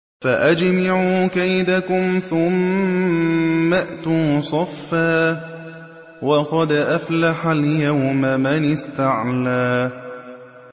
فَأَجْمِعُوا كَيْدَكُمْ ثُمَّ ائْتُوا صَفًّا ۚ وَقَدْ أَفْلَحَ الْيَوْمَ مَنِ اسْتَعْلَىٰ